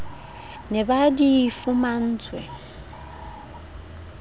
ne ba sa di fumantshwe